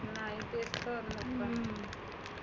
नाही ते कळलं